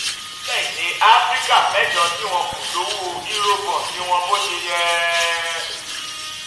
orílẹ̀-èdè áfíríkà mẹ́jọ tí wọn kò lo owó cs] eurobond wọn bó ṣe yẹ